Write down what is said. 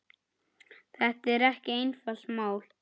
Þetta er ekki einfalt mál.